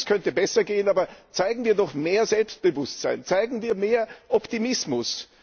Vieles könnte besser gehen, aber zeigen wir doch mehr Selbstbewusstsein, zeigen wir mehr Optimismus!